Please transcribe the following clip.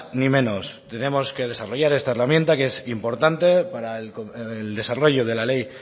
ni menos tenemos que desarrollar esta herramienta que es importante para el desarrollo de la ley